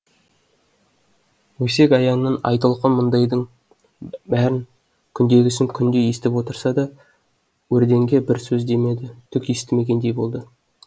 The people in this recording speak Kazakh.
өсек аяңнан айтолқын мұндайдың бәрін күндегісін күнде естіп отырса да өрденге бір сөз демеді түк естімегендей болды